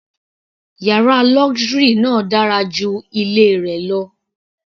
Yàrá luxury náà dára ju ilé rẹ lọ.